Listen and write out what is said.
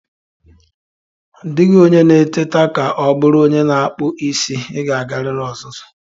Ọ dịghị onye na-eteta ka ọ bụrụ onye na-akpụ isi, ị ga-agarịrị ọzụzụ.